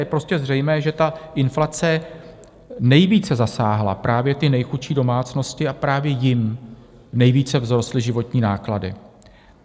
Je prostě zřejmé, že ta inflace nejvíce zasáhla právě ty nejchudší domácnosti, a právě jim nejvíce vzrostly životní náklady.